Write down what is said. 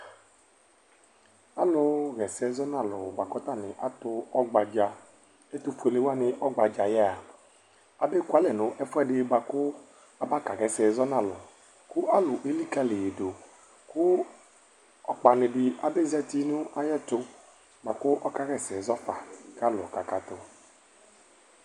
Alʋɣa ɛsɛ zɔ nʋ alʋ bʋa kʋ tanɩ atʋ ɔgbadza Ɛtʋfuele wanɩ ɔgbadza yɛ a, abekualɛ nʋ ɛfʋɛdɩ bʋa kʋ abakaɣa ɛsɛ zɔ nʋ alʋ kʋ alʋ elikǝli yɩ dʋ kʋ ɔkpanɩ dɩ abezati nʋ ayɛtʋ bʋa kʋ ɔkaɣa ɛsɛ zɔ fa kʋ alʋ kakatʋ